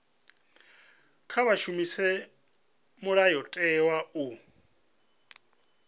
kha vha shumise mulayotewa u